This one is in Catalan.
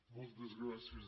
moltes gràcies